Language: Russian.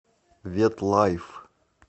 ветлайф